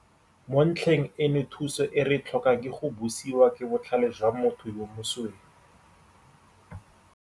Mo ntlheng eno thuso e re e tlhokang ke go busiwa ke botlhale jwa motho yo mosweu.